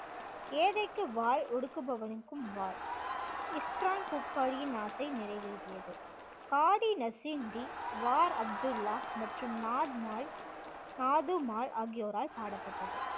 ஏழைக்கு வாள் ஒடுக்குபவனுக்கும் வாள் இஸ்தரான் குர்க்காடியின் ஆசை நிறைவேறியது. காடி நசீம் டி, வார் அப்துல்லா மற்றும் நாத் மால் நாது மால் ஆகியோரால் பாடப்பட்டது